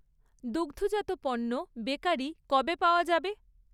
দুগ্ধজাত পণ্য, বেকারি কবে পাওয়া যাবে?